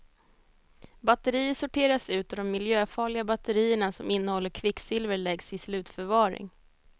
Batterier sorteras ut och de miljöfarliga batterierna som innehåller kvicksilver läggs i slutförvaring.